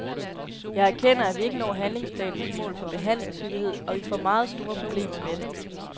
Jeg erkender, at vi ikke når handlingsplanens mål for behandlingshyppighed, og vi får meget store problemer med det.